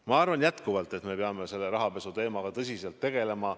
Ma arvan jätkuvalt, et me peame rahapesuteemaga tõsiselt tegelema.